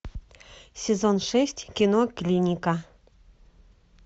сезон шесть кино клиника